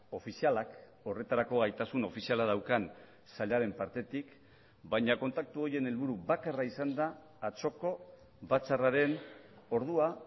ofizialak horretarako gaitasun ofiziala daukan sailaren partetik baina kontaktu horien helburu bakarra izan da atzoko batzarraren ordua